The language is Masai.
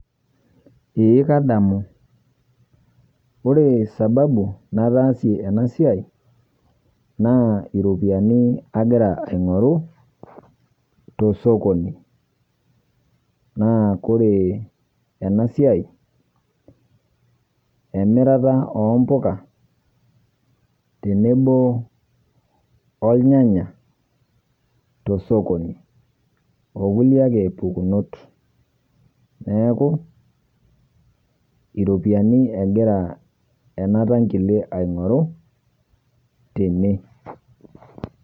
Eeh kadamu kore sababu nataasie ana sia naa ropiani agiraa aing'oruu to sokoni. Naa kore ena siai emiraata ombukaa olnyanya to sokoni. Ouuni ake mpokunot neeku eropiani egiraa ana ntang'ile aing'uruu tene.